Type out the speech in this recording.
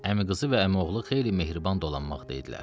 Əmiqızı və əmioğlu xeyli mehriban dolanmaqdaydılar.